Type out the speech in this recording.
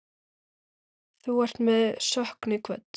Þú ert með söknuði kvödd.